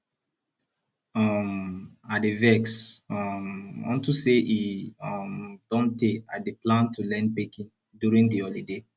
um i dey vex um unto say e um don tey i dey plan to learn baking during the holiday